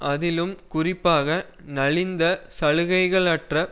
அதிலும் குறிப்பாக நலிந்த சலுகைகளற்ற